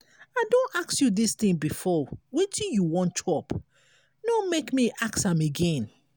i don ask you dis thing before wetin you wan chop? no make me ask am again.